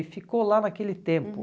E ficou lá naquele tempo. Uhum.